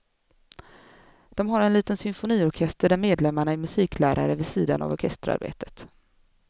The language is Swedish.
De har en liten symfoniorkester där medlemmarna är musiklärare vid sidan av orkesterarbetet.